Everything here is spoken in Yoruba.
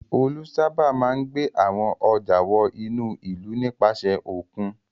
Olú sábà máa ń gbé àwọn ọjà wọ inú ìlú nípasẹ̀ òkun.